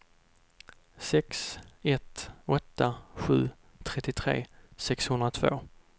sex ett åtta sju trettiotre sexhundratvå